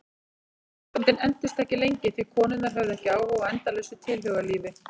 Samböndin entust ekki lengi því konurnar höfðu ekki áhuga á endalausu tilhugalífi.